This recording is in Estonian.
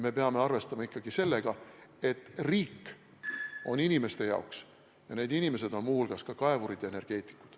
Me peame arvestama ikkagi sellega, et riik on inimeste jaoks, ja need inimesed on muu hulgas ka kaevurid ja energeetikud.